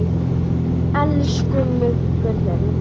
Elsku Muggur minn.